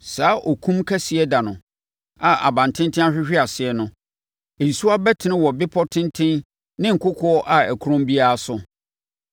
Saa okum kɛseɛ da no a abantenten ahwehwe ase no, nsuwa bɛtene wɔ bepɔ tenten ne kokoɔ a ɛkorɔn biara so.